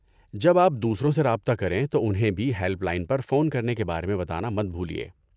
جب آپ دوسروں سے رابطہ کریں تو انہیں بھی ہیلپ لائن پر فون کرنے کے بارے میں بتانا مت بھولیے۔